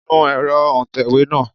Nu ẹ̀rọ òǹtẹ̀wé náà!